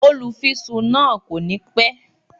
Olúfisún náà kò ní pẹ́